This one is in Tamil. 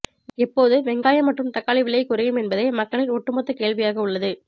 எப்போது வெங்காயம் மற்றும் தக்காளி விலை குறையும் என்பதே மக்களின் ஒட்டு மொத்த கேள்வியாக உள்ளது